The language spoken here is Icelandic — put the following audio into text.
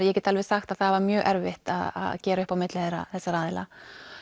ég get alveg sagt að það var mjög erfitt að gera upp á milli þessara aðila